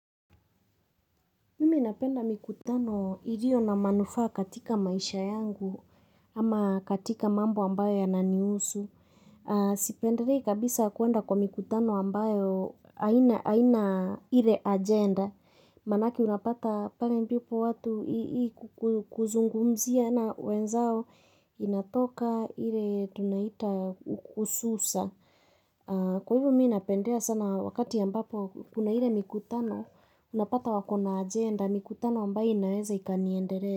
Mimi napenda mikutano iliyo na manufaa katika maisha yangu ama katika mambo ambayo yana nihusu. Sipendelei kabisa kuenda kwa mikutano ambayo haina ile agenda. Manake unapata pale mdipo watu kuzungumzia na wenzao inatoka ile tunaita hususa. Kwa hivyo mimi napendea sana wakati ambapo kuna ile mikutano Unapata wako na agenda mikutano ambaye inaweza ikaniendele.